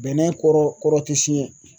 Bɛnɛ kɔrɔ kɔrɔ tɛ siɲɛ